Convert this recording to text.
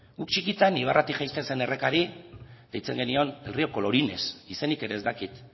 guk txikitan ibarratik jaisten zen errekari deitzen genion el río colorines izenik ere ez dakit